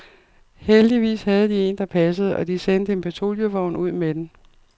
Heldigvis havde de en, der passede og de sendte en patruljevogn ud med den.